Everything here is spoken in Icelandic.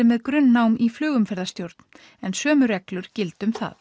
með grunnnám í flugumferðarstjórn en sömu reglur gilda um það